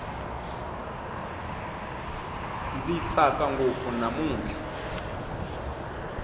ndzi tsaka ngopfu namutlha